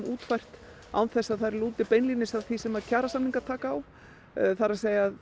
útfært án þess að þær lúti beinlínis að því sem kjarasamningar taka á það er að